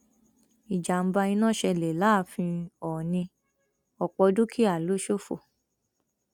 ìjàmbá iná ṣẹlẹ láàfin oòní ọpọ dúkìá ló ṣòfò